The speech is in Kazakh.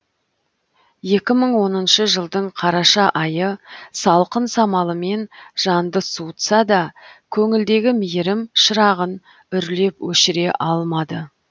екі мың оныншы жылдың қараша айы салқын самалымен жанды суытса да көңілдегі мейірім шырағын үрлеп өшіре алмады